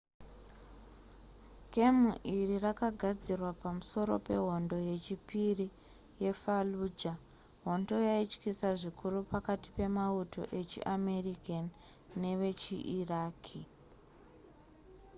gemu iri rakagadzirwa pamusoro pehondo yechipiri yefallujah hondo yaityisa zvikuru pakati pemauto echiamerican nevechiiraqi